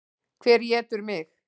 Hver étur mig?